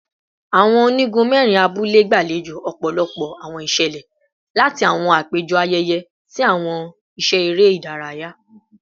Awọn onigun mẹrin abule gbalejo ọpọlọpọ awọn iṣẹlẹ, lati awọn apejọ ayẹyẹ si awọn iṣẹ ere idaraya